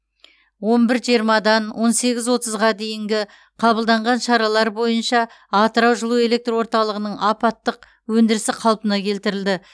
он бір жиырмадан он сегіз отызға дейінгі қабылданған шаралар бойынша атырау жылу электр орталығының апаттық өндірісі қалпына келтірілді